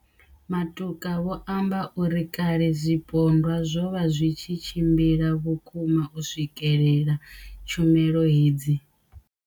Matuka vho amba uri kale zwipondwa zwo vha zwi tshi tshimbila vhukuma u swikelela tshumelo hedzi.